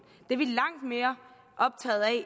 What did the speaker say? det er vi langt mere optaget af